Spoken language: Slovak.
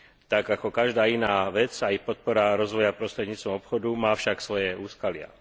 Tak ako každá iná vec aj podpora rozvoja prostredníctvom obchodu má však svoje úskalia.